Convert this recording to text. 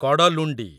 Kadalundi